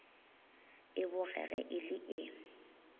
e bogege e le e